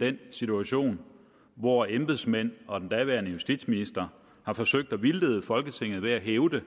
den situation hvor embedsmænd og den daværende justitsminister har forsøgt at vildlede folketinget ved at hævde